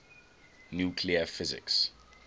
nuclear physics